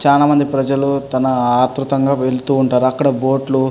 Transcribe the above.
చాలా మంది ప్రజలు తన అత్రుతంగా వెళ్తూఉంటారు అక్కడ బోటులు --